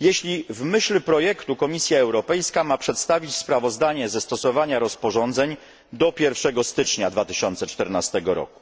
jeśli w myśl projektu Komisja Europejska ma przedstawić sprawozdanie ze stosowania rozporządzeń do 1 stycznia 2014 roku.